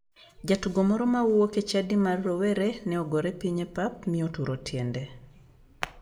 Jatugo moro ma wuok e chadi mar rowere ne ogore piny e pap mi oturo tiende.